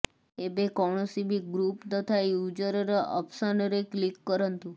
ଏବେ କୌଣସି ବି ଗ୍ରୁପ ତଥା ୟୁଜରର ଅପସନରେ କ୍ଲିକ୍ କରନ୍ତୁ